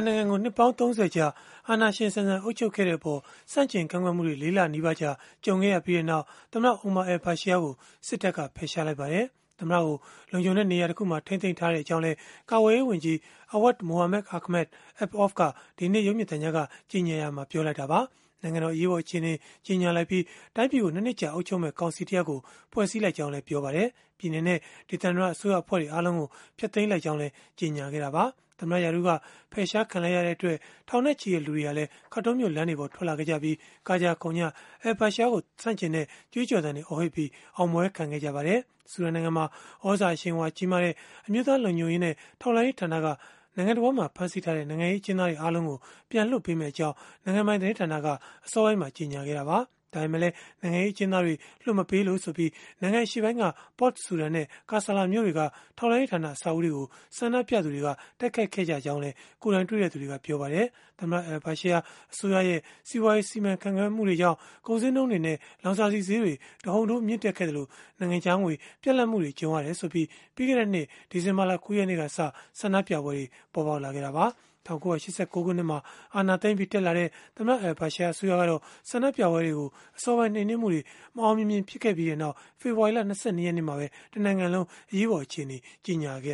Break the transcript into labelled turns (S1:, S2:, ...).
S1: နိုင်ငံကို နှစ်ပေါင်း ၃၀ ကြာ အာဏာရှင်ဆန်ဆန် အုပ်ချုပ်ခဲ့တဲ့အပေါ် ဆန့်ကျင်ကန့်ကွက်မှုတွေ ၄ လနီးပါးကြာ ကြုံခဲ့ရပြီးနောက် သမ္မတ Omar al-Bashir ကို စစ်တပ်က ဖယ်ရှားလိုက်ပါတယ်။ သမ္မတကို လုံခြုံတဲ့နေရာတခုမှာ ထိန်းသိမ်းထားကြောင်းလည်း ကာကွယ်ရေးဝန်ကြီး Awad Mohamed Ahmed Ibn Auf က ဒီကနေ့ ရုပ်မြင်သံကြားကနေ ကြေညာရာမှာ ပြောဆိုလိုက်တာပါ။ နိုင်ငံတော် အရေးပေါ်အခြေအနေ ကြေညာလိုက်ပြီး၊ တိုင်းပြည်ကို ၂ နှစ်ကြာ အုပ်ချုပ်မယ့် ကောင်စီတရပ်ကို ဖွဲ့စည်းလိုက်ကြောင်းလည်း ပြောဆိုခဲ့ပါတယ်။ ပြည်နယ်နဲ့ ဒေသန္တရ အစိုးရအဖွဲ့တွေ အားလုံးကို ဖျက်သိမ်းလိုက်ကြောင်းလည်း ကြေညာခဲ့တာပါ။ သမ္မတ ရာထူးက ဖယ်ရှားခံလိုက်ရတဲ့အတွက် ထောင်နဲ့ချီတဲ့လူတွေဟာလည်း Khartoum မြို့လမ်းတွေပေါ် ထွက်လာခဲ့ကြပြီး၊ ကကြခုန်ကြ al-Bashir ကို ဆန့်ကျင်တဲ့ ကြွေးကြော်သံတွေ အော်ဟစ်ပြီး အောင်ပွဲခံခဲ့ကြပါတယ်။ ဆူဒန်နိုင်ငံမှာ သြဇာအရှိန်အဝါကြီးတဲ့ အမျိုးသားလုံခြုံရေးနဲ့ ထောက်လှမ်းရေးဌာနကတော့ နိုင်ငံတဝန်းမှာ ဖမ်းဆီးထားတဲ့ နိုင်ငံရေး အကျဉ်းသားတွေ အားလုံးကို ပြန်လွှတ်ပေးမယ့်အကြောင်း နိုင်ငံပိုင် သတင်းဌာနကနေ အစောပိုင်းမှာ ကြေညာခဲ့တာပါ။ ဒါပေမဲ့လည်း နိုင်ငံရေး အကျဉ်းသားတွေ လွှတ်မပေးလို့ဆိုပြီး နိုင်ငံအရှေ့ပိုင်းက Port Sudan နဲ့ Kasala မြို့တွေက ထောက်လှမ်းရေးဌာန အဆောက်အဦးတွေကို ဆန္ဒပြသူတွေက တိုက်ခိုက်ခဲ့ကြောင်းလည်း ကိုယ်တိုင်တွေ့သူတွေက ပြောပါတယ်။ သမ္မတ al-Bashir အစိုးရရဲ့ စီးပွားရေးစီမံခန့်ခွဲမှုတွေကြောင့် ကုန်ဈေးနှုန်းတွေနဲ့ လောင်စာဆီဈေးတွေ တဟုန်ထိုး မြင့်တက်ခဲ့သလို၊ နိုင်ငံခြားငွေ ပြတ်လပ်မှု ကြုံရတယ်ဆိုပြီး ပြီးခဲ့တဲ့နှစ် ဒီဇင်ဘာ ၉ ရက်နေ့ကစ ဆန္ဒပြပွဲတွေ ပေါ်ပေါက်ခဲ့တာပါ။ ၁၉၈၉ ခုနှစ်မှာ အာဏာသိမ်းပြီး တက်လာတဲ့ သမ္မတ al-Bashir အစိုးရကတော့ ဆန္ဒပြပွဲတွေကို အစောပိုင်း နှိမ်နင်းမှုတွေ မအောင်မမြင် ဖြစ်ခဲ့ပြီးနောက်၊ ဖေဖော်ဝါရီ ၂၂ ရက်နေ့မှာပဲ တနိုင်ငံလုံး အရေးပေါ် အခြေအနေ ကြေညာခဲ့